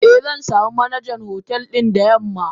Eh zansamu Manajan hotel din da yamma.